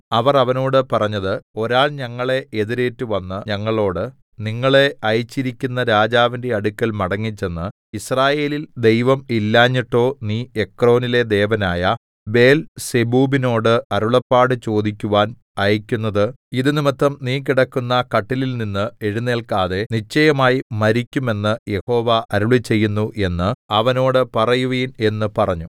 അവർ അവനോട് പറഞ്ഞത് ഒരാൾ ഞങ്ങളെ എതിരേറ്റുവന്ന് ഞങ്ങളോട് നിങ്ങളെ അയച്ചിരിക്കുന്ന രാജാവിന്റെ അടുക്കൽ മടങ്ങിച്ചെന്ന് യിസ്രായേലിൽ ദൈവം ഇല്ലാഞ്ഞിട്ടോ നീ എക്രോനിലെ ദേവനായ ബേൽസെബൂബിനോട് അരുളപ്പാട് ചോദിക്കുവാൻ അയക്കുന്നത് ഇതു നിമിത്തം നീ കിടക്കുന്ന കട്ടിലിൽനിന്ന് എഴുന്നേൽക്കാതെ നിശ്ചയമായി മരിക്കും എന്ന് യഹോവ അരുളിച്ചെയ്യുന്നു എന്ന് അവനോട് പറയുവിൻ എന്ന് പറഞ്ഞു